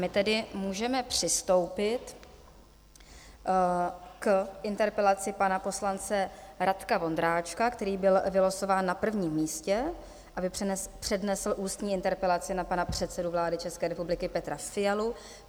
My tedy můžeme přistoupit k interpelaci pana poslance Radka Vondráčka, který byl vylosován na prvním místě, aby přednesl ústní interpelaci na pana předsedu vlády České republiky Petra Fialu.